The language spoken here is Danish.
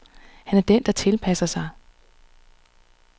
Han er den, der tilpasser sig.